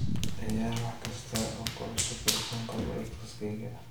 ciyaar wax kasta oo ku cusub rukunka podcast-kayga